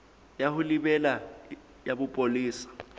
ya ho lebela ya bopolesa